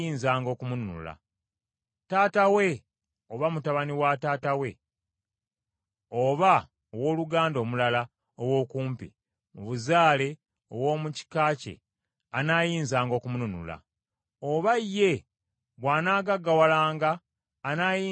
Taata we oba mutabani wa taata we, oba owooluganda omulala ow’okumpi mu buzaale ow’omu kika kye anaayinzanga okumununula. Oba ye bw’anaagaggawalanga anaayinzanga okwenunula.